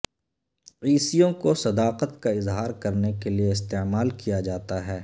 عیسیوں کو صداقت کا اظہار کرنے کے لئے استعمال کیا جاتا ہے